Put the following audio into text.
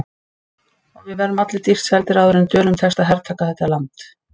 Og við verðum allir dýrt seldir áður en Dönum tekst að hertaka þetta land.